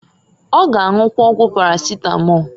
Ọ g' anwụkwa ọgwụ paracetamol.